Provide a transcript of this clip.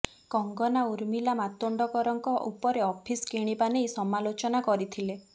କଙ୍ଗନା ଉର୍ମିଲା ମାତୋଣ୍ଡକରଙ୍କ ଉପରେ ଅଫିସ୍ କିଣିବା ନେଇ ସମାଲୋଚନା କରିଥିଲେ